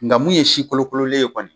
Nga mun ye si kolokololen ye kɔni